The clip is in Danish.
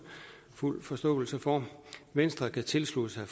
fuld forståelse for venstre kan tilslutte sig